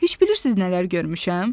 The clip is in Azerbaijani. Heç bilirsiz nələr görmüşəm?